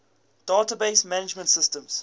database management systems